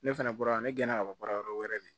Ne fɛnɛ bɔra ne gɛnna ka bɔ baara yɔrɔ wɛrɛ de